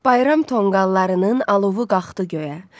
Bayram tonqallarının alovu qalxdı göyə.